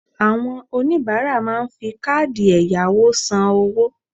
Àwon oníbáárà máa n fi káàdì èyàwò san owó